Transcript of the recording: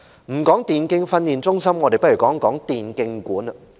不談電競發展中心，我們來談談電競館。